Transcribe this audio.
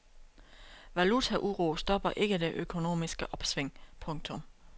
Valutauro stopper ikke det økonomiske opsving. punktum